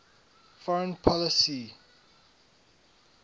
foreign policy e